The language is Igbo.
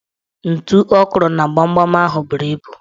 Ntu ọ kụrụ na gbamgbam ahụ buru ibu